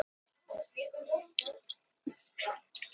Sérðu, hann er með blásvart hár og brún augu? sagði Magga dreymin.